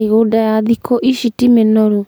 mĩgũnda ya thĩkũ ici ti mĩnoru